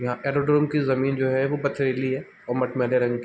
यहाँ एरोड्रम की जमीन जो है वह पथरीली है और मटमेले रंग की --